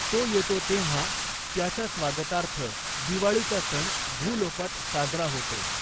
तो येतो तेंव्हा त्याच्या स्वागतार्थ दिवाळीचा सण भूलोकात साजरा होतो.